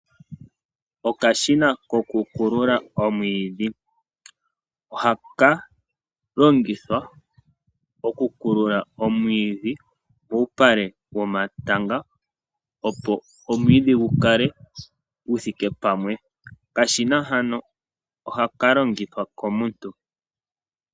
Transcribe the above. Okashina ko ku kulula omwiidhi, ohaka longithwa oku kulula omwiidhi muupale womatanga opo omwiidhi gu kale gu thike pamwe. Okashina hano ohaka longithwa komuntu.